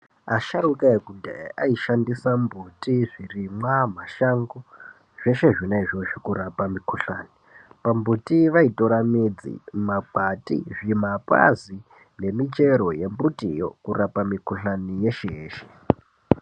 Asharuka ekudhaya aishandisa mbuti zvirimwa mashangi zveshe izvozvo kurapa mikhuhlani pambuti vaitora midzi makwati zvimapazi nemichero yembitiyo yokurapa mikhuhlani yeshe yeshe.